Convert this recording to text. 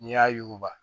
N'i y'a yuguba